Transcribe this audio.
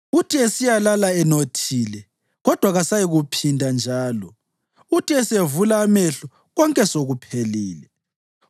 Uthi esiyalala enothile, kodwa kasayikuphinda njalo; uthi esevula amehlo, konke sekuphelile.